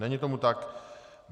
Není tomu tak.